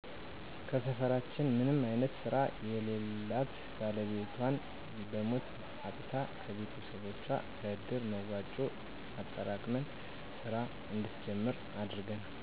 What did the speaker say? ከሰፈራችን ምንም አይነት ስራ የለላት ባለቤቷን በሞት አጥታ ከቤቶሰቦቻችን ከእድር መዋጮ አጠራቅመን ስራ እንድትጀምር አድርገናል